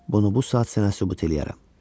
Bunu bu saat sənə sübut eləyərəm.